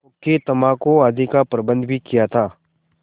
हुक्केतम्बाकू आदि का प्रबन्ध भी किया था